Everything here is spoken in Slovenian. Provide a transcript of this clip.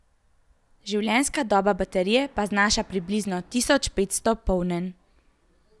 Življenjska doba baterije pa znaša približno tisoč petsto polnjenj.